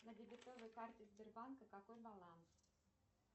на дебетовой карте сбербанка какой баланс